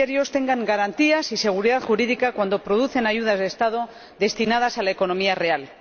tengan garantías y seguridad jurídica cuando producen ayudas estatales destinadas a la economía real.